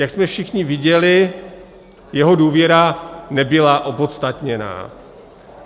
Jak jsme všichni viděli, jeho důvěra nebyla opodstatněná.